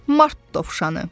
Mart dovşanı.